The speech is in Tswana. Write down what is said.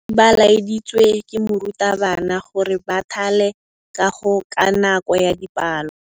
Baithuti ba laeditswe ke morutabana gore ba thale kagô ka nako ya dipalô.